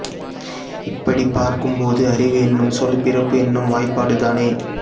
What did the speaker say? இப்படிப் பார்க்கும்போது அறிவு என்னும் சொல் பிறப்பு என்னும் வாய்பாடுதானே